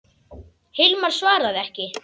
Hilmar svaraði ekki.